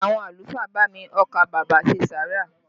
Àwọn àlùfáà bá mi ọkà bàbà ṣe sàárà